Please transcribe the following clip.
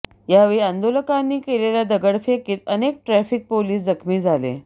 यावेळी आंदोलकांनी केलेल्या दगडफेकीत अनेक ट्रॅफिक पोलिस जखमी झाले